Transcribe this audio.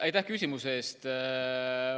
Aitäh küsimuse eest!